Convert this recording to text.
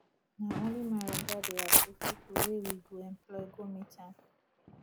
na only my oga dey approve pipu wey we go employ go meet am